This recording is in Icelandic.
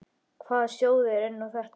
Hvaða sjóður er nú þetta?